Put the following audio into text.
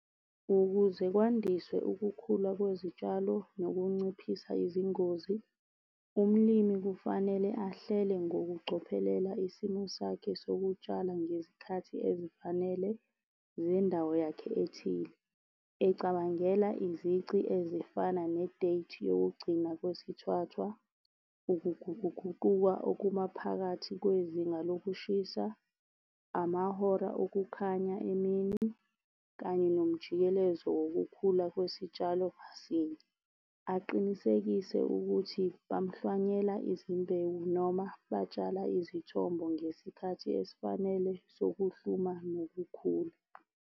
Ukuze kwandiswe ukukhula kwezitshalo nokunciphisa izingozi, umlimi kufanele ahlele ngokucophelela isimo sakhe sokutshala ngezikhathi ezifanele zendawo yakhe ethile. Ecabangela izici ezifana ne-date yokugcina kwesithwathwa, ukuguquguquka okumaphakathi kwezinga lokushisa, amahora okukhanya emini, kanye nomjikelezo wokukhula kwesitshalo ngasinye. Aqinisekise ukuthi bamuhlwanyela izimbewu noma batshala izithombo ngesikhathi esifanele sokuhluma nokukhula.